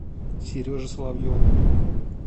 сереже соловьеву